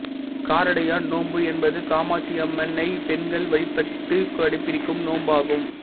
காரடையான் நோம்பு என்பது காமாட்சியம்மனை பெண்கள் வழிபட்டு கடைபிடிக்கும் நோம்பாகும்